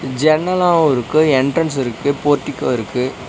ஜன்னலாவு இருக்கு என்ட்ரன்ஸ் இருக்கு போர்டிகோ இருக்கு.